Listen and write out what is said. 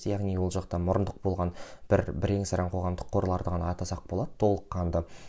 яғни ол жақта мұрындық болған бір бірең сараң қоғамдық қорларды ғана атасақ болады толыққанды